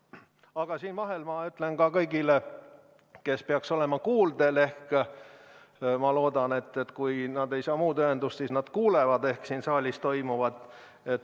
Aga siia vahele ma ütlen kõigile, kes peaks olema kuuldel, et kui nad ei saa muud ühendust, siis nad vähemalt kuulevad siin saalis toimuvat.